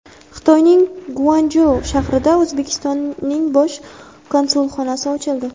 Xitoyning Guanchjou shahrida O‘zbekistonning bosh konsulxonasi ochildi.